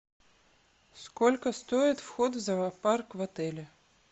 сколько стоит вход в зоопарк в отеле